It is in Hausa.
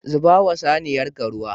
Zubawa saniyarka ruwa.